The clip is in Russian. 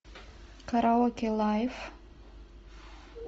караоке лайф